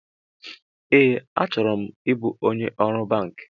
Ee, achọrọ m ịbụ onye ọrụ banki